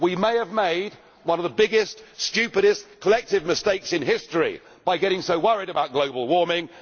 We may have made one of the biggest and most stupid collective mistakes in history by getting so worried about global warming.